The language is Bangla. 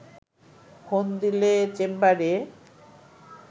ফোন দিলে চেম্বারে